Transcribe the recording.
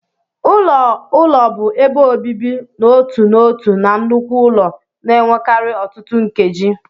Ụlọ ụlọ bụ ebe obibi n'otu n'otu na nnukwu ụlọ, na-enwekarị ọtụtụ nkeji.p